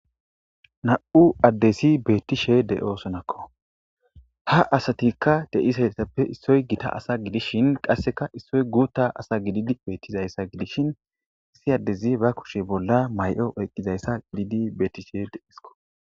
Nam'u addezi bettishe de'iossonnakko ha asatappe de'ishin issoy giitta asa giddishin qasekka issoy guutta asa gididi bettizayssa gidishin issi addezi ba kuushshe bolla mayo oyqidayssa gididi bettishe de'esikko.